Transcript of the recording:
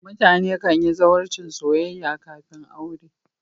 mutane kan yi zawarcin soyayya kafin aure